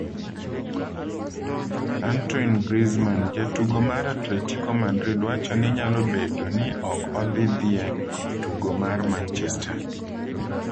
Antoine Griezmann: Jatugo mar atletico madrid wacho ni nyalo bedo ni ok odhi dhi e tugo mar Manchester